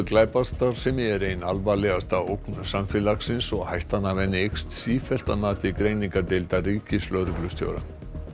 glæpastarfsemi er ein alvarlegasta ógn samfélagsins og hættan af henni eykst sífellt að mati greiningardeildar ríkislögreglustjóra